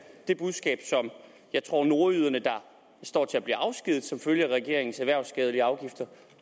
det budskab som jeg tror nordjyderne der står til at blive afskediget som følge af regeringens erhvervsskadelige afgifter